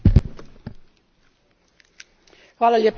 Zahvaljujem izvjestiteljici na kvalitetnom izvješću.